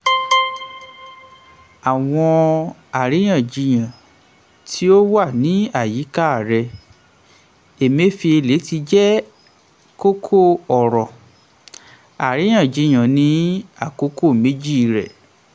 àwọn àríyànjiyàn tí ó wà ní àyíká rẹ̀: emefiele ti jẹ́ kókó-ọ̀rọ̀ àríyànjiyàn ní àkókò méjì rẹ̀.